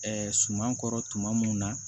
suman kɔrɔ tuma mun na